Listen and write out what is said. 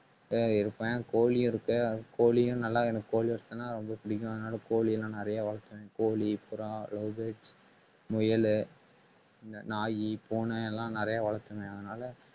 ஆஹ் இருப்பேன் கோழியும் இருக்கு ஆஹ் கோழியும் நல்லா எனக்கு கோழி ரொம்ப பிடிக்கும். அதனால கோழி எல்லாம் நிறைய வளர்த்துவேன். கோழி, புறா, lover birds முயலு இந்த நாயி, பூனை எல்லாம் நிறைய வளர்த்துவேன் அதனால